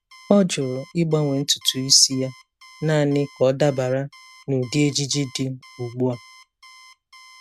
Ọ jụrụ ịgbanwe ntutu isi ya naanị ka ọ dabara na ụdị ejiji dị ugbu a.